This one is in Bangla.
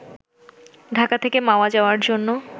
ঢাকা থেকে মাওয়া যাওয়ার জন্য